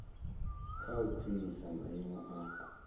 kha u khwinisa maimo a